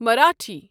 Marathi